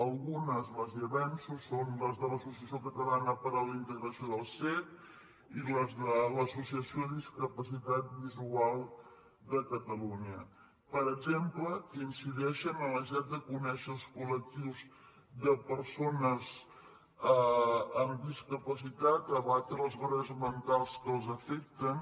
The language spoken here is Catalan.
algunes les hi avanço són les de l’associació catalana per a la integració dels cecs i les de l’associació de discapacitats visuals de catalunya per exemple que incideixen en la necessitat de conèixer els col·lectius de persones amb discapacitat a abatre les barreres mentals que els afecten